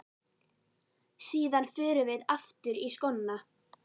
Síðan förum við aftur í skóna.